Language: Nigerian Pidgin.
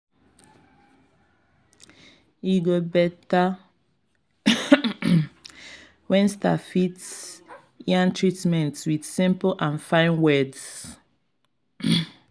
e go better when staff fit yarn treatments with simple and fine words.